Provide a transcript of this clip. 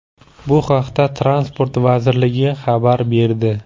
Bu haqda Transport vazirligi xabar berdi.